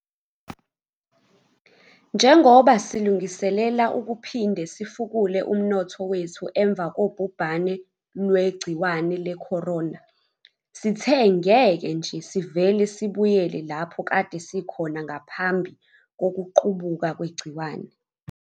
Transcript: Njengoba silungiselela ukuphinde sifukule umnotho wethu emva kobhubhane lwegciwane lecorona, sithe ngeke nje sivele sibuyele lapho kade sikhona ngaphambi kokuqubuka kwegciwane.